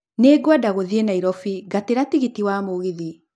Nĩ ngwenda gũthiĩ nairobi ngatĩra tigiti wa mũgithi